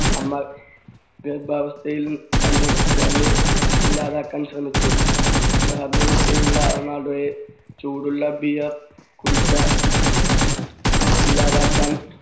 അമ്മ ഗർഭാവസ്ഥയിൽ തന്നെ ക്രിസ്റ്റിയാനോയെ ഇല്ലാതാക്കാൻ ശ്രമിച്ചു. ഗർഭവസ്ഥയിലുള്ള റൊണാൾഡോയെ ചൂടുള്ള beer കുടിച്ചാ ഇല്ലാതാക്കാൻ